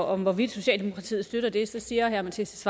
og hvorvidt socialdemokratiet støtter det så siger herre mattias